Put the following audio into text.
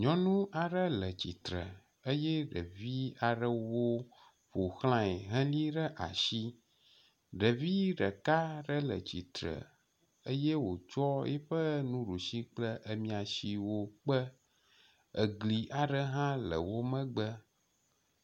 Nyɔnu aɖe le tsitre eye ɖevi aɖewo ƒo xlae heli ɖe asi. Ɖevi ɖeka aɖe le tsitre eye wòtsɔ eƒe nuɖusi kple emia siwo kpe. Egli hã le wo megbe.